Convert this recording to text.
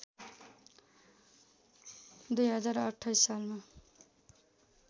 २०२८ सालमा